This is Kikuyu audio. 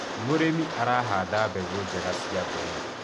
mũrĩmi arahanda mbegũ njega cia mbembe